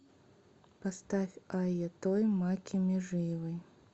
поставь айъа той макки межиевой